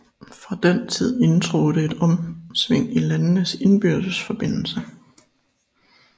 Fra den tid indtrådte et omsving i landenes indbyrdes forbindelse